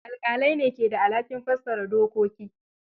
Alƙalai ne ke da alhakin fassara dokoki.